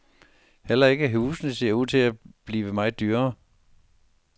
Heller ikke husene ser ud til at blive meget dyrere.